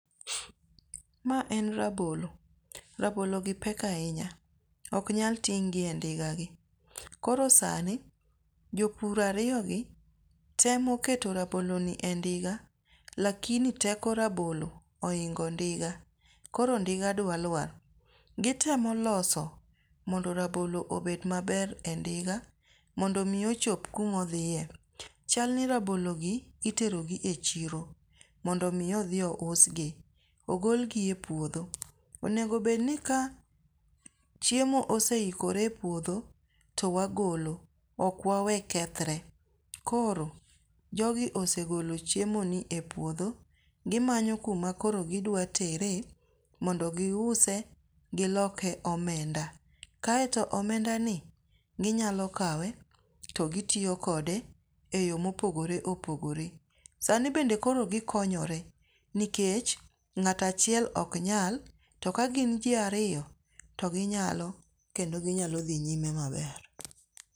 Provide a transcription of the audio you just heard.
Maa en rabolo, rabologi pek ahinya. Ok nyal ting' gi e ndigagi. Koro sani jopur ariyogi temo keto rabologi e ndiga lakini teko rabolo ohingo ndiga koro ndiga dwa luar. Gitemo loso mondo rabolo obed maber e ndiga mondo mi ochop kuma odhiye. Chal ni rabologi itero gi e chiro mondo mi odhi ousgi. Ogol gi e podho, onego bed ni ka chiemo ose ikore e puodho to wagolo, ok wawe kethre. Koro jogi osegolo chiemoni e puodho gimanyo kuma koro gidwa tere mondo giuse giloke omenda, kaeto omendani ginyalo kawe to gitiyo kode e yo mopogore opogore sani bende koro gikonyore nikech ng'at achiel ok nyal to ka gin ji ariyo to ginyalo kendo ginyalo dhi nyime maber.